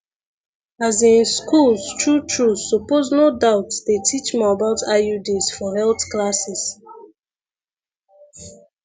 as in schools true true suppose no doubt dey teach more about iuds for health classes